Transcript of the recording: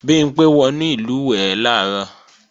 Bimpé wọnú ìlùwẹ̀ẹ̀ làárọ̀